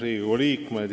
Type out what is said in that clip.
Riigikogu liikmed!